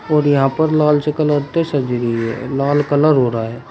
और यहां पर लाल से कलर से सजी हुई है लाल कलर हो रहा है।